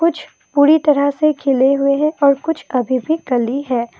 कुछ पूरी तरह से खिले हुए हैं और कुछ अभी भी कली है।